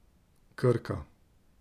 Krka.